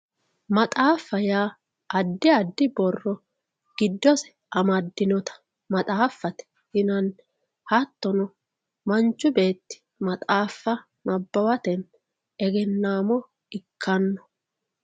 maxaafa yaa giddosi addi addi borro giddosi amadinota maxaafate yinanni hattono manchi beetti maxaafa nabbawatenni egennamo ikkanno.